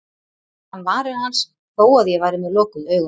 Og fann varir hans þó að ég væri með lokuð augun.